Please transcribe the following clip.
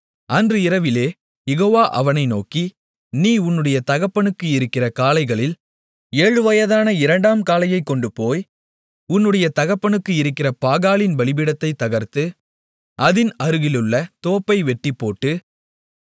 அன்று இரவிலே யெகோவா அவனை நோக்கி நீ உன்னுடைய தகப்பனுக்கு இருக்கிற காளைகளில் ஏழுவயதான இரண்டாம் காளையைக் கொண்டுபோய் உன்னுடைய தகப்பனுக்கு இருக்கிற பாகாலின் பலிபீடத்தைத் தகர்த்து அதின் அருகிலுள்ள தோப்பை வெட்டிப்போட்டு